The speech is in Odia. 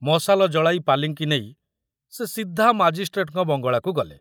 ମଶାଲ ଜଳାଇ ପାଲିଙ୍କି ନେଇ ସେ ସିଧା ମାଜିଷ୍ଟ୍ରେଟଙ୍କ ବଙ୍ଗଳାକୁ ଗଲେ।